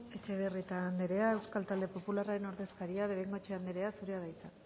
etxebarrieta anderea euskal talde popularraren ordezkaria bengoechea anderea zurea da hitza